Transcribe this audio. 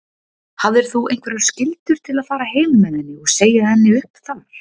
Hafðir þú einhverjar skyldur til að fara heim með henni og segja henni upp þar?